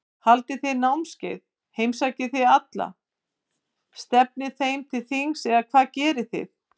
Haldið þið námskeið, heimsækið þið alla, stefnið þeim til þings eða hvað gerið þið?